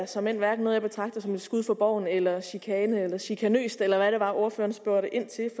såmænd hverken som et skud for boven eller chikane eller chikane eller hvad det var ordføreren spurgte ind til